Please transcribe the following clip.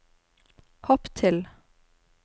hopp til